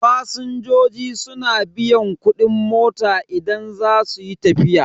Fasinjoji suna biyan kudin mota idan za su yi tafiya.